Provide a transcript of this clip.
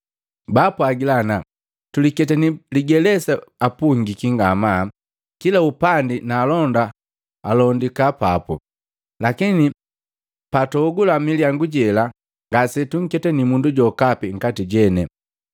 Baapwagila ana “Tuliketani ligelesa apungiki ngamaa kila upandi na alonda alondika papu. Lakini patuogula milyangu jela ngase tunketani mundu jokapi nkati jene.”